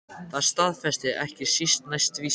Það staðfestir ekki síst næsta vísa